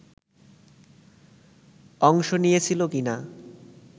অংশ নিয়েছিল কি না